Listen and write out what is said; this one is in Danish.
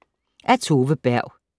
Af Tove Berg